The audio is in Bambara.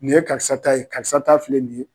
Nin ye karisa ta ye, karisa ta filɛ nin ye.